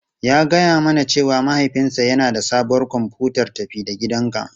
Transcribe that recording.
Ya gaya mana cewa mahaifinsa yana da sabuwar kwamfutar tafi-da-gidanka.